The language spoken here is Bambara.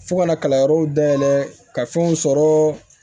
Fo ka na kalanyɔrɔw dayɛlɛ ka fɛnw sɔrɔ